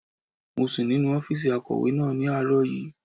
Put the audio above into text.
Mo sùn nínu ọ́fìsì akọ̀wé náà ní àárọ̀ yìí